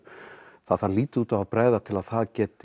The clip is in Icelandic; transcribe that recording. það þarf lítið út af að bregða til að það geti